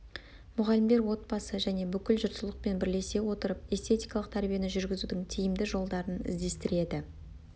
мұғалімдер отбасы және бүкіл жұртшылықпен бірлесе отырып эстетикалық тәрбиені жүргізудің тиімді жолдарын іздестіреді